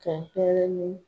ka n pɛrɛ ni